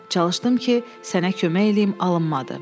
Çalışdım ki, sənə kömək eləyim, alınmadı.